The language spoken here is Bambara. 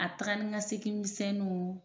A taga ni ka segin misɛnnuw